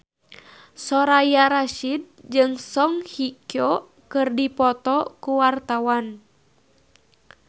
Soraya Rasyid jeung Song Hye Kyo keur dipoto ku wartawan